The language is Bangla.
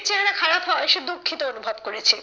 চেহারা খারাপ হওয়ায় সে দুঃখিত অনুভব করেছে